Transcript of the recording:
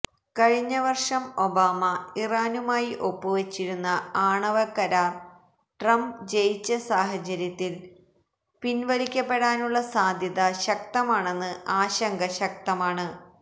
കഴിഞ്ഞ വര്ഷം ഒബാമ ഇറാനുമായി ഒപ്പ് വച്ചിരുന്ന ആണവകരാര് ട്രംപ് ജയിച്ച സാഹചര്യത്തില് പിന്വലിക്കപ്പെടാനുള്ള സാധ്യത ശക്തമാണെന്ന് ആശങ്ക ശക്തമാണ്